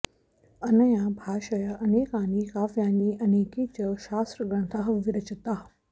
अनया भाषया अनेकानि काव्यानि अनेके च शास्त्रग्रन्थाः विरचिताः